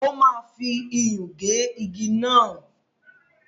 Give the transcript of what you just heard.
O máa fi iyùn gé igi náà.